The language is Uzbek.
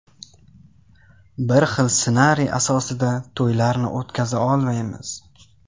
Bir xil ssenariy asosida to‘ylarni o‘tkaza olmaymiz.